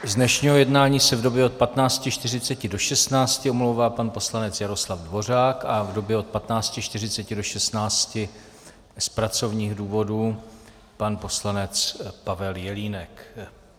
Z dnešního jednání se v době od 15.40 do 16.00 omlouvá pan poslanec Jaroslav Dvořák a v době od 15.40 do 16.00 z pracovních důvodů pan poslanec Pavel Jelínek.